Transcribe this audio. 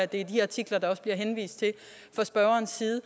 det er de artikler der også bliver henvist til fra spørgerens side